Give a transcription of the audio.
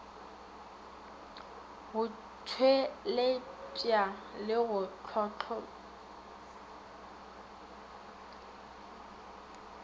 go tpweletpa le go hlohlomipa